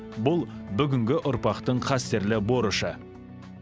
бұл бүгінгі ұрпақтың қастерлі борышы